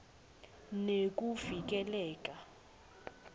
nekuvikeleka